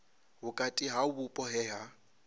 vhukati ha vhupo he ha